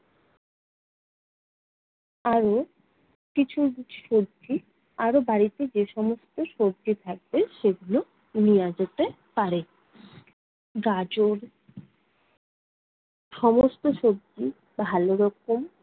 আরও কিছু কিছু সবজি আরও বাড়িতে যে সমস্ত সবজি থাকবে সেগুলো নেয়া যেতে পারে। গাজর, সমস্ত সবজি ভালোরকম